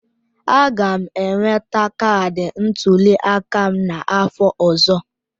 Aga m enweta kaadị ntuli aka m n'afọ ọzọ.